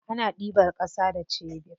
Ana ɗiban ƙasa da sebur.